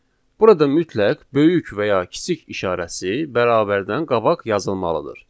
Burada mütləq böyük və ya kiçik işarəsi bərabərdən qabaq yazılmalıdır.